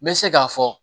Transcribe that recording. N bɛ se k'a fɔ